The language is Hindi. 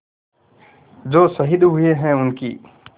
जो शहीद हुए हैं उनकी